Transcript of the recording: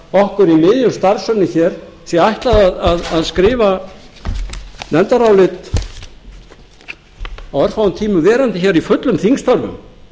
okkur í miðju starfsönnum hér sé ætlað að skrifa nefndarálit á örfáum tímum verandi hér í fullum þingstörfum